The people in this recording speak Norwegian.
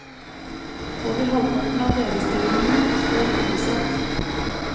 Over halvparten av lederstillingene står ubesatt.